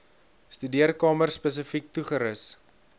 studeerkamer spesifiek toegerus